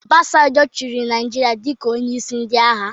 Obasanjo chịrị Naijiria dịka onyeisi ndị agha